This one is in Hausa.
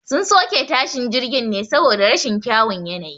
Sun soke tashin jirgin ne saboda rashin kyawun yanayi